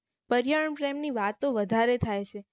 પર્યાવરણ પ્રેમ ની વાત તો વધારે થાયછે